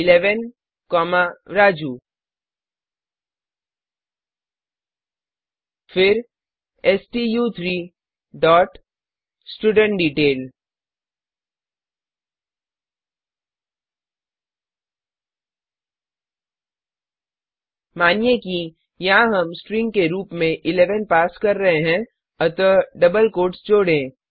11 comma Raju फिर स्टू3 dot student detail मानिए कि यहाँ हम स्ट्रिंग के रूप में 11 पास कर रहे हैं अतः डबल कोट्स जोड़ें